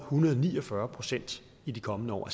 hundrede og ni og fyrre procent i de kommende år